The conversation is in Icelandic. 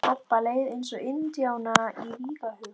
Kobba leið eins og indjána í vígahug.